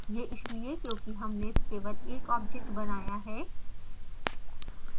यह इसलिए क्योंकि हमने केवल एक object बनाया है